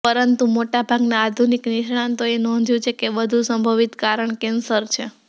પરંતુ મોટાભાગના આધુનિક નિષ્ણાતોએ નોંધ્યું છે કે વધુ સંભવિત કારણ કેન્સર છે